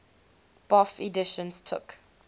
bofh editions took